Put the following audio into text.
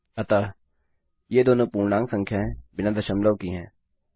अतः ये दोनों पूर्णांक संख्याएँ बिना दशमलव की हैं